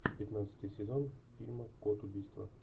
пятнадцатый сезон фильма код убийства